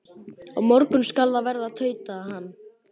Á morgun skal það verða, tautaði hann.